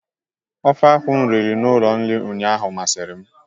Ofe akwụ m riri n'ụlọ nri a ụnyaahụ masịrị m.